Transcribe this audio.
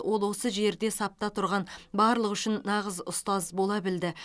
ол осы жерде сапта тұрған барлығы үшін нағыз ұстаз бола білді